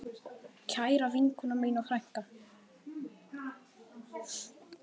Kæra vinkona mín og frænka.